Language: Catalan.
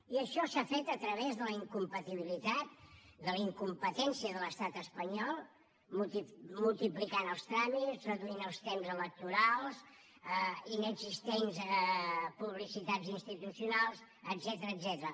i això s’ha fet a través de la incompatibilitat de la incompetència de l’estat espanyol multiplicant els tràmits reduint els temps electorals inexistents publicitats institucionals etcètera